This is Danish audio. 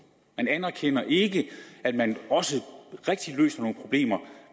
man anerkender ikke at man også rigtig løser nogle problemer